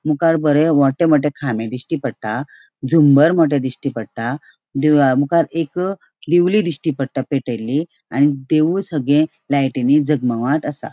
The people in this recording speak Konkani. मुकार बरे मोठे मोठे खामे दिश्टी पट्टा झुंबर मोठे दिश्टी पट्टा देवळा मुखार एक दिवली दिश्टी पट्टा पेटेली आणि देव सागले लायटिनी जगमगाट असा.